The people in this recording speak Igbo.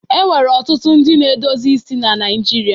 E nwere ọtụtụ ndị na-edozi isi Naịjirịa.